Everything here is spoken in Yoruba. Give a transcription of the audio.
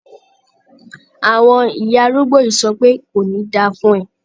Àwọn ìyá arúgbó yìí ń sọ pé "kò ní da fún ẹ".